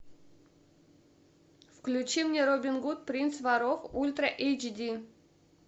включи мне робин гуд принц воров ультра эйч ди